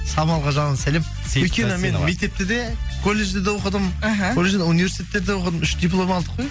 самалға жалынды сәлем өйткені мен мектепте де колледжде де оқыдым іхі колледжден университетте де оқыдым үш диплом алдық қой